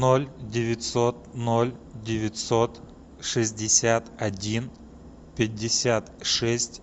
ноль девятьсот ноль девятьсот шестьдесят один пятьдесят шесть